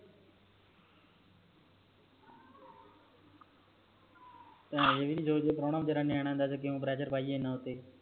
ਏ ਵੀ ਨਹੀਂ ਸੋਚਦੇ ਕਿ ਪ੍ਰੋਉਣਾ ਵੀਚਾਰਾ ਨਿਆਣਾ ਏਨਾ ਕਯੋ pressure ਪਾਈਏ ਉਤੇ